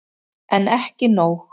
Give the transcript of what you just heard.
En ekki nóg.